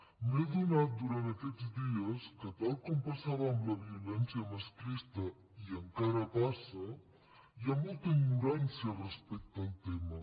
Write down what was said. m’he adonat durant aquests dies que tal com passava amb la violència masclista i encara passa hi ha molta ignorància respecte al tema